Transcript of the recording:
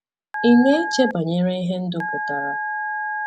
Ị̀ na-eche banyere ihe ndụ pụtara?